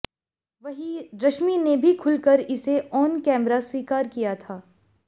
वहीं रश्मि ने भी खुलकर इसे ऑन कैमरा स्वीकार किया था